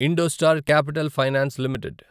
IndoStar Capital Finance limited